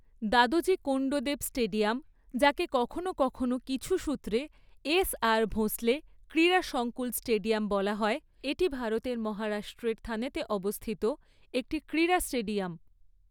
Dadoji Konddev stadium, যাকে কখনও কখনও কিছু সূত্রে এসআর ভোঁসলে ক্রীড়া সংকুল স্টেডিয়াম বলা হয়, এটি ভারতের মহারাষ্ট্রের থানেতে অবস্থিত একটি ক্রীড়া স্টেডিয়াম।